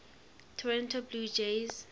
toronto blue jays